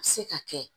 A bɛ se ka kɛ